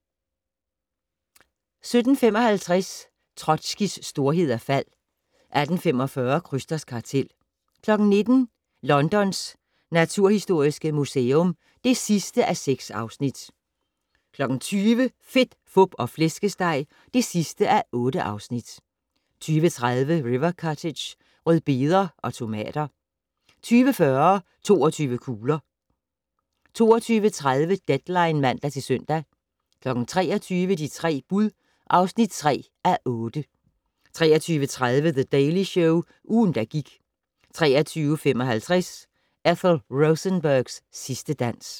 17:55: Trotskijs storhed og fald 18:45: Krysters kartel 19:00: Londons naturhistoriske museum (6:6) 20:00: Fedt, Fup og Flæskesteg (8:8) 20:30: River Cottage - rødbeder og tomater 20:40: 22 kugler 22:30: Deadline (man-søn) 23:00: De tre bud (3:8) 23:30: The Daily Show - ugen, der gik 23:55: Ethel Rosenbergs sidste dans